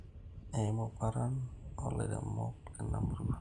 Eimu paran oolairemok leina murrua